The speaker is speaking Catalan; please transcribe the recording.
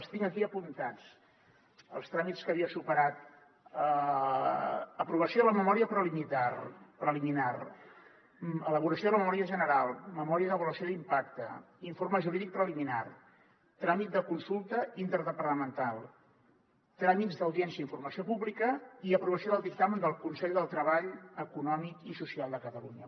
els tinc aquí apuntats els tràmits que havia superat aprovació de la memòria preliminar elaboració de la memòria general memòria d’avaluació d’impacte informe jurídic preliminar tràmit de consulta interdepartamental tràmits d’audiència i informació pública i aprovació del dictamen del consell del treball econòmic i social de catalunya